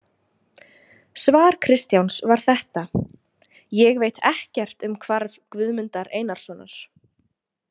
Svar Kristjáns var þetta: Ég veit ekkert um hvarf Guðmundar Einarssonar.